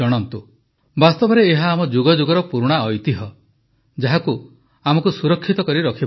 ବାସ୍ତବରେ ଏହା ଆମ ଯୁଗଯୁଗର ପୁରୁଣା ଐତିହ୍ୟ ଯାହାକୁ ଆମକୁ ସୁରକ୍ଷିତ ରଖିବାର ଅଛି